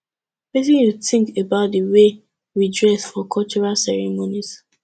wetin you think about di way we dress for cultural ceremonies